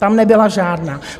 Tam nebyla žádná.